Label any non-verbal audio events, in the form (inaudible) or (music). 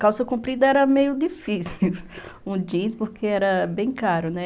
Calça comprida era meio difícil, (laughs) um jeans, porque era bem caro, né?